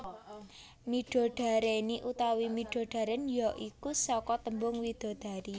Midodareni utawa midodaren ya iku saka tembung widadari